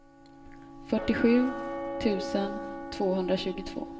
fyrtiosju tusen tvåhundratjugotvå